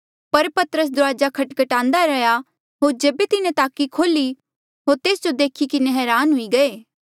पर पतरस दुराजा खटखटान्दा रैंहयां होर जेबे तिन्हें ताकी खोल्ही होर तेस जो देखी किन्हें हरान हुई गये